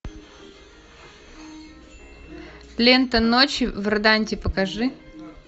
лента ночи в роданте покажи